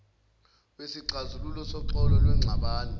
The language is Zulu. wesixazululo soxolo lwengxabano